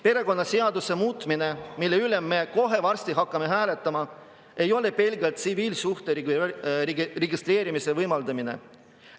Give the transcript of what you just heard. Perekonnaseaduse muutmine, mille üle me kohe varsti hakkame hääletama, ei ole pelgalt tsiviilsuhte registreerimise võimaldamine.